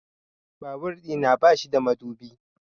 Babur ɗina ba shi da madubi